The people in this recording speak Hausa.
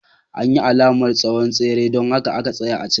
An yi alama tsawon tseren, don haka ka tsaya a can.